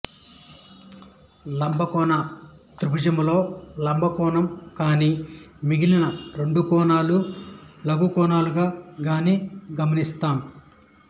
లంబకోణ త్రిభుజంలో లంబ కోణం కాని మిగిలిన రెండు కోణాలూ లఘుకోణాలుగా కాని గమనిస్తాం